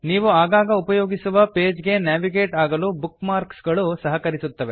ನೀವು ಆಗಾಗ ಉಪಯೋಗಿಸುವ ಪೇಜ್ ಗೆ ನ್ಯಾವಿಗೇಟ್ ಆಗಲು ಬುಕ್ ಮಾರ್ಕ್ಸ್ ಗಳು ಸಹಕರಿಸುತ್ತವೆ